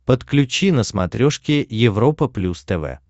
подключи на смотрешке европа плюс тв